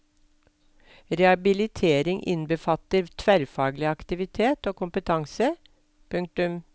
Rehabilitering innbefatter tverrfaglig aktivitet og kompetanse. punktum